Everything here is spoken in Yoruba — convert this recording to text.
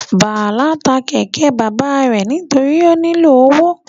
Bala ta kẹkẹ baba rẹ nitori o nilo owo